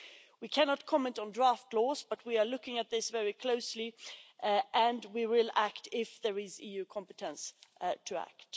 We cannot comment on draft laws, but we are looking at this very closely, and we will act if there is EU competence to act.